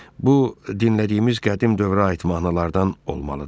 Bu dinlədiyimiz qədim dövrə aid mahnılardan olmalıdır.